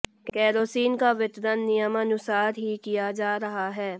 kerosene का वितरण नियमानुसार ही किया जा रहा है